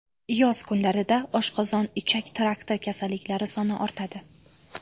Yoz kunlarida oshqozon-ichak trakti kasalliklari soni ortadi.